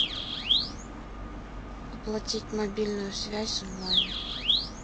оплатить мобильную связь онлайн